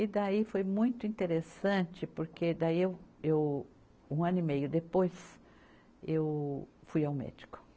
E daí foi muito interessante, porque daí eu, eu, um ano e meio depois eu fui ao médico.